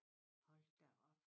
Hold da op